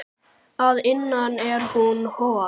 Að innan er hún hol.